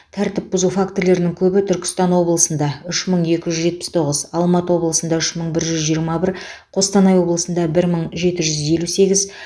тәртіп бұзу фактілерінің көбі түркістан облысында үш мың екі жүз жетпіс тоғыз алматы облысында үш мың бір жүз жиырма бір қостанай облысында бір мың жеті жүз елу сегіз